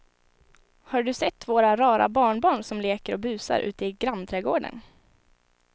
Har du sett våra rara barnbarn som leker och busar ute i grannträdgården!